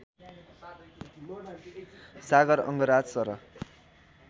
Sagar Angraj sir